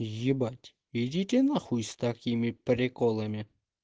ебать идите на хуй с такими приколами